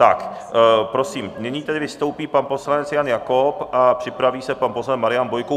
Tak prosím, nyní tedy vystoupí pan poslanec Jan Jakob a připraví se pan poslanec Marian Bojko.